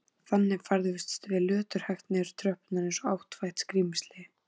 Þannig færðumst við löturhægt niður tröppurnar eins og áttfætt skrímsli.